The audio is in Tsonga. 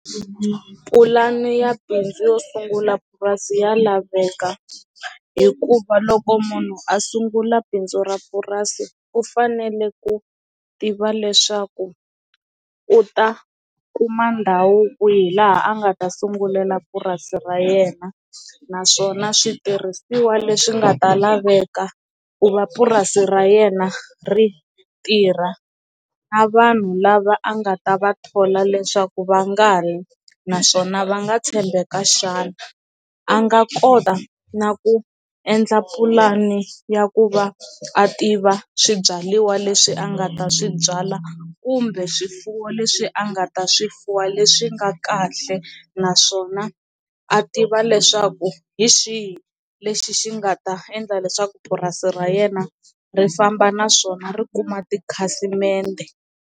Pulani ya bindzu yo sungula purasi ya laveka hikuva loko munhu a sungula bindzu ra purasi u fanele ku tiva leswaku u ta kuma ndhawu kwihi laha a nga ta sungulela purasi ra yena naswona switirhisiwa leswi nga ta laveka ku va purasi ra yena ri tirha na vanhu lava a nga ta va thola leswaku va nga ri naswona va nga tshembeka xana a nga kota na ku endla pulani ya ku va a tiva swibyariwa leswi a nga ta swi byala kumbe swifuwo leswi a nga ta swifuwo leswi nga kahle naswona a tiva leswaku hi xihi lexi xi nga ta endla leswaku purasi ra yena ri famba naswona ri kuma tikhasimende.